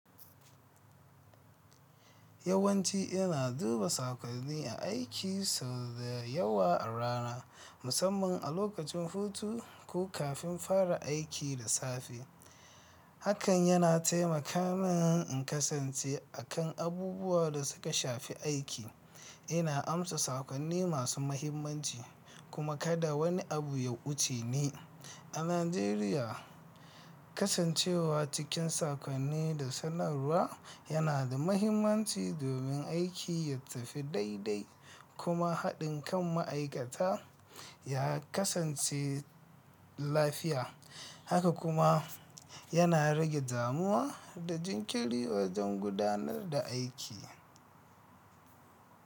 Yawanci ina duba saƙonni aiki sau da yawa a rana, musamman a lokacin hutu ko kafin fara aiki da safe. Hakan yana taimaka min in kasance a kan abubuwa da suka shafi aiki. Ina amsa saƙonni masu mahimmanci, kuma kada wani abu ya wuce ni. A Najeriya, kasancewa cikin saƙonni da sanarwa yana da mahimmanci domin aiki ya tafi daidai kuma haɗin kan ma'aikata ya kasance lafiya. Haka kuma yana rage damuwa da jinkiri wajen gudanar da aiki.